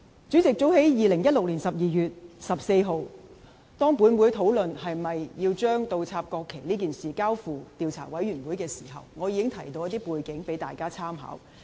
主席，早在2016年12月14日，當本會討論是否要將倒插國旗事件交付調查委員會時，我已提到一些背景供大家參考。